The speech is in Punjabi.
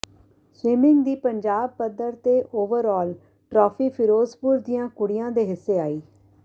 ਸਵੀਮਿੰਗ ਦੀ ਪੰਜਾਬ ਪੱਧਰ ਤੇ ਓਵਰ ਆਲ ਟਰਾਫੀ ਫਿਰੋਜ਼ਪੁਰ ਦੀਆਂ ਕੁੜੀਆਂ ਦੇ ਹਿੱਸੇ ਆਈ